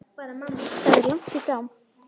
Það er langt í frá.